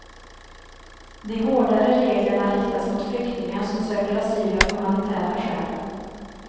De hårdare reglerna riktas mot flyktingar som söker asyl av humanitära skäl.